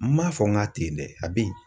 N ma fɔ n k'a ten yen dɛ, a be yen.